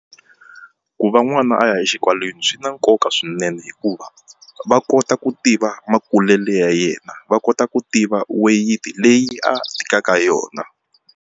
Ku va n'wana a ya exikolweni swi na nkoka swinene hikuva va kota ku tiva makulele ya yena va kota ku tiva weyiti leyi a tikaka yona.